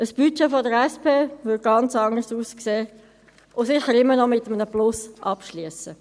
Ein Budget der SP würde ganz anders aussehen und sicher immer noch mit einem Plus abschliessen.